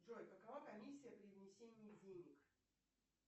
джой какова комиссия при внесении денег